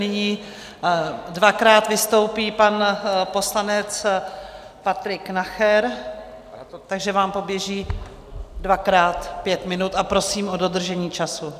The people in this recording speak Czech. Nyní dvakrát vystoupí pan poslanec Patrik Nacher, takže vám poběží dvakrát pět minut a prosím o dodržení času.